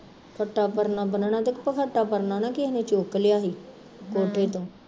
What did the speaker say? ਚਿੱਟਾ ਪਰਨਾ ਬਣਨਾ ਤੇ ਇੱਕ ਖਟਹਾ ਪਰਨਾ ਨਾ ਕਿਸੇ ਨੇ ਚੁੱਕ ਲਿਆ ਸੀ ਕੋਠੇ ਤੋਂ